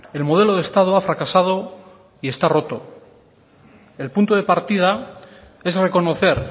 el modelo de estado ha fracasado y está roto el punto de partida es reconocer